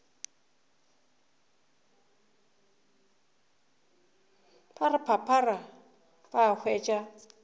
ba re phaphara ba hwetša